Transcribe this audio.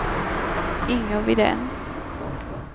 Inger Widén